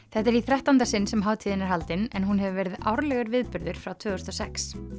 þetta er í þrettánda sinn sem hátíðin er haldin en hún hefur verið árlegur viðburður frá tvö þúsund og sex